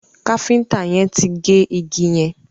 Kafiñta yén tí gé ìgi yén